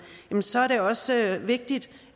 så er det også vigtigt